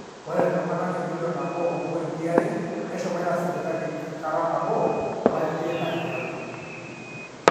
ore iltung'anak emillion nabo ompointi are neshomoita sipitali kata nabo tolari teina kikena